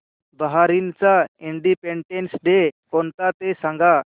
बहारीनचा independence day कोणता ते सांगा